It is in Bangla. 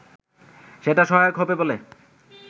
সেটা সহায়ক হবে বলে